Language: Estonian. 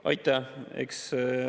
Aitäh!